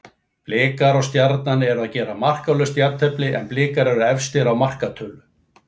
Blikar og Stjarnan eru að gera markalaust jafntefli en Blikar eru efstir á markatölu.